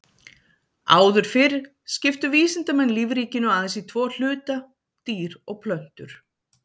Áður fyrr skiptu vísindamenn lífríkinu aðeins í tvo hluta, dýr og plöntur.